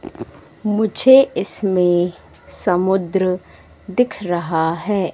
मुझे इसमें समुद्र दिख रहा हैं।